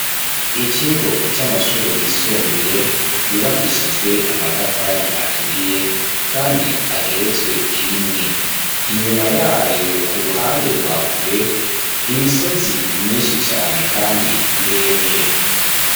Ikigo c'amashure yisumbuye yubakishijwe amatafari aturiye kandi ageretswe irimwe inyuma yayo ku ruhande rwakure imisozi myinshi cane kandi miremire.